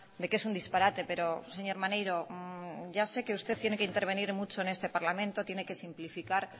de que es un disparate pero señor maneiro ya sé que usted tiene que intervenir mucho en este parlamento tiene que simplificar